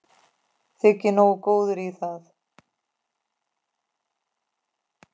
Þyki nógu góður í það.